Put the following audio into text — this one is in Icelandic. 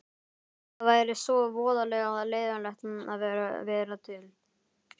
Það væri svo voðalega leiðinlegt að vera til.